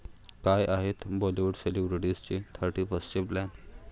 काय आहेत बाॅलिवूड सेलिब्रिटीजचे थर्टीफर्स्टचे प्लॅन्स?